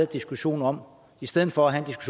diskussion om i stedet for at have